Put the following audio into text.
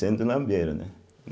Sendo lambeiro, né?